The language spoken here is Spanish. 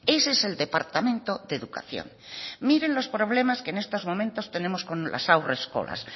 ese es el departamento de educación miren los problemas que en estos momentos tenemos con las haurreskolak